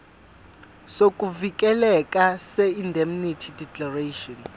sokuvikeleka seindemnity declaration